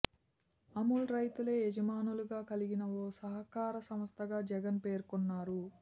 అమూల్ రైతులే యజమానులుగా కలిగిన ఓ సహకార సంస్ధగా జగన్ పేర్కొన్నారు